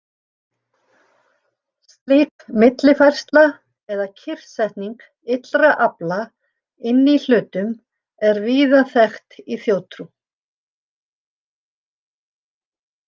Slík millifærsla eða kyrrsetning illra afla inni í hlutum er víða þekkt í þjóðtrú.